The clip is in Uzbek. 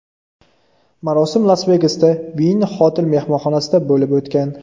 Marosim Las-Vegasda, Wynn Hotel mehmonxonasida bo‘lib o‘tgan.